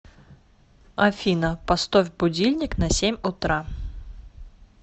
афина постовь будильник на семь утра